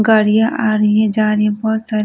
गाड़ियां आ रही है जा रही है बहुत सारी ----